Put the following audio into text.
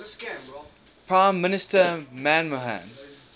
prime minister manmohan